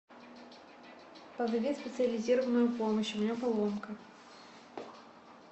позови специализированную помощь у меня поломка